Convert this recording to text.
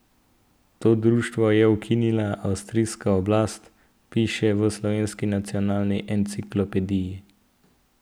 To društvo je ukinila avstrijska oblast, piše v Slovenski nacionalni enciklopediji.